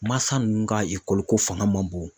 Mansa ninnu ka ko fanga man bon.